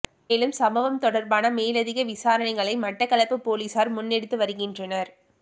மேலும் சம்பவம் தொடர்பான மேலதிக விசாரணைகளை மட்டக்களப்பு பொலிஸார் முன்னெடுத்து வருகின்றனர்